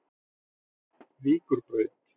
Víkurbraut